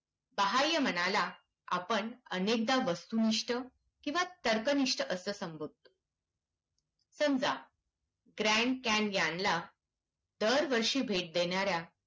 बाह्यमनाला आपण अनेका वस्तुनिष्ठ किंवा तर्कनिष्ठ असं संबोधतो. समजा ग्रँट कॅन यांना दरवर्षी भेट देणाऱ्या